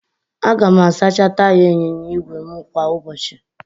Aga m asacha taya ịnyịnya ígwè m kwa ụbọchị